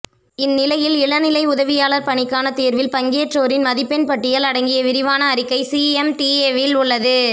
இந்நிலையில் இளநிலை உதவியாளர் பணிக்கான தேர்வில் பங்கேற்றோரின் மதிப்பெண் பட்டியல் அடங்கிய விரிவான அறிக்கை சிஎம்டிஏவில் உள்ளது